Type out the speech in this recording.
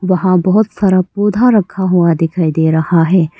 वहां बहोत सारा पौधा रखा हुआ दिखाई दे रहा है।